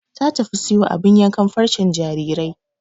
Ta tafi siyo abin yankan farcen jarirai